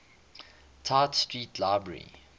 tite street library